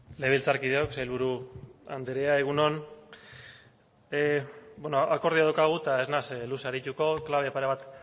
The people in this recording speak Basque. legebiltzarkideok sailburu anderea egun on akordioa daukagu eta ez naiz luze arituko klabe pare bat